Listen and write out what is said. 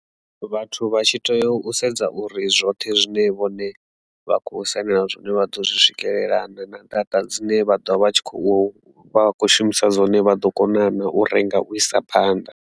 Vhathu vha tshi tea u sedza uri zwoṱhe zwine vhone vha kho sainela zwone vha ḓo zwi swikelela na kana data dzine vha ḓovha vha tshi khou shumisa dzone vha ḓo kona na u renga u isa phanḓa.